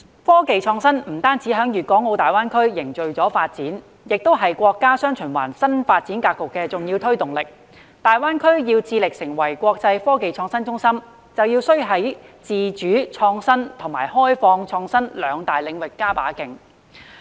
科技創新不止在粵港澳大灣區凝聚發展，同時亦是國家"雙循環"新發展格局的重要推動力，大灣區要成為國際科技創新中心，便要在自主創新及開放創新兩大領域加把勁。